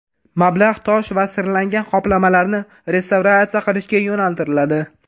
Mablag‘ tosh va sirlangan qoplamalarni restavratsiya qilishga yo‘naltiriladi.